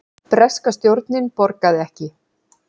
Breska stjórnin borgaði ekki